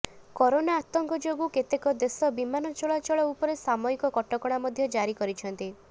corona ଆତଙ୍କ ଯୋଗୁ କେତେକ ଦେଶ ବିମାନ ଚଳାଳଚଳ ଉପରେ ସାମୟିକ କଟକଣା ମଧ୍ୟ ଜାରି କରିଛନ୍ତି